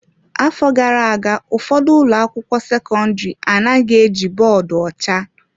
Afọ gara aga ụfọdụ ụlọ akwụkwọ sekọndrị anaghị eji bọọdụ ọcha.